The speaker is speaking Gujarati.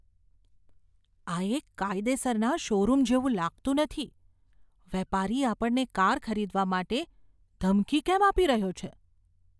આ એક કાયદેસરના શોરૂમ જેવું લાગતું નથી. વેપારી આપણને કાર ખરીદવા માટે ધમકી કેમ આપી રહ્યો છે?